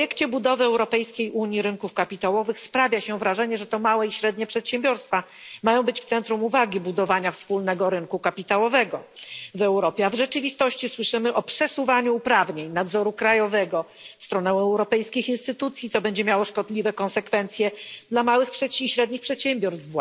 W projekcie budowy europejskiej unii rynków kapitałowych sprawia się wrażenie, że to małe i średnie przedsiębiorstwa mają być w centrum uwagi budowania wspólnego rynku kapitałowego w Europie, a w rzeczywistości słyszymy o przesuwaniu uprawnień nadzoru krajowego w stronę europejskich instytucji, co będzie miało szkodliwe konsekwencje właśnie dla małych i średnich przedsiębiorstw,